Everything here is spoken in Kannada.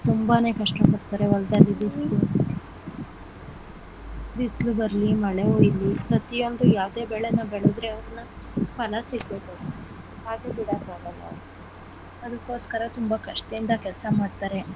ತುಂಬಾನೇ ಕಷ್ಟ ಪಡ್ತಾರೆ ಹೊಲದಲ್ಲಿ ಬಿಸಿಲು ಬಿಸಿಲು ಬರ್ಲಿ ಮಳೆ ಹುಯ್ಲಿ ಪ್ರತಿಯೊಂದು ಯಾವುದೇ ಬೆಳೆನ ಬೆಳೆದ್ರೆ ಅವ್ರ್ನ ಫಲ ಸಿಗ್ಬೇಕು ಅದು ಬಿಡೋಕ್ ಆಗಲ್ಲ ಅದುಕೊಸ್ಕರ ತುಂಬಾ ಕಷ್ಟದಿಂದ ಕೆಲ್ಸ ಮಾಡ್ತಾರೆ.